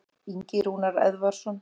Ingi Rúnar Eðvarðsson.